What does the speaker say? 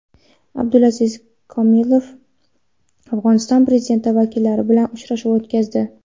Abdulaziz Komilov Afg‘oniston prezidenti vakillari bilan uchrashuv o‘tkazdi.